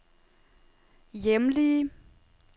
hjemlige